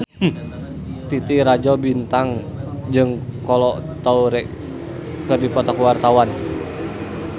Titi Rajo Bintang jeung Kolo Taure keur dipoto ku wartawan